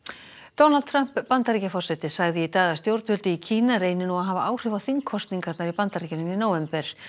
Donald Trump Bandaríkjaforseti sagði í dag að stjórnvöld í Kína reyni nú að hafa áhrif á þingkosningarnar í Bandaríkjunum í nóvember